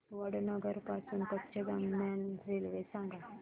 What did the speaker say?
वडनगर पासून कच्छ दरम्यान रेल्वे सांगा